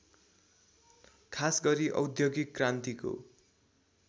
खासगरी औद्योगिक क्रान्तिको